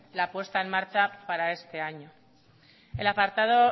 la puesta en marcha para este año el apartado